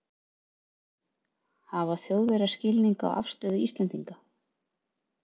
Höskuldur: Hafa Þjóðverjar skilning á afstöðu Íslendinga?